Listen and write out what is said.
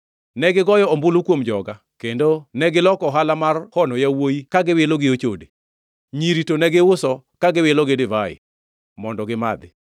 Negigoyo ombulu kuom joga kendo negiloko ohala mar hono yawuowi ka giwilo gi ochode; nyiri to negiuso ka giwilo gi divai, mondo gimadhi.